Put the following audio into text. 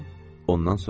Ondan soruşdum.